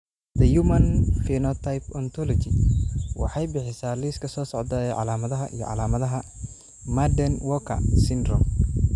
The Human Phenotype Ontology waxay bixisaa liiska soo socda ee calaamadaha iyo calaamadaha Marden Walker syndrome.